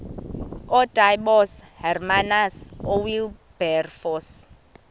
ootaaibos hermanus oowilberforce